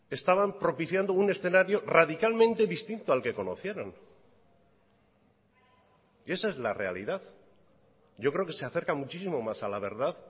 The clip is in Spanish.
estaban propiciando un escenario radicalmente distinto al que conocieron y esa es la realidad yo creo que se acerca muchísimo más a la verdad